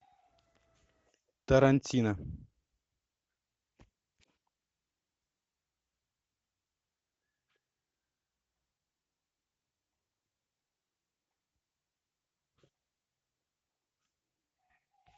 тарантино